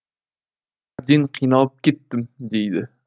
әбден қиналып кеттім дейді